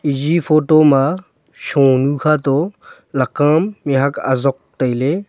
eyi photo ma shonu khato laka am mihuak azok tailey.